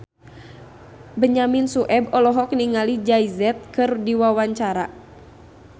Benyamin Sueb olohok ningali Jay Z keur diwawancara